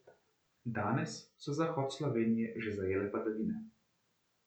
Danes so zahod Slovenije že zajele padavine.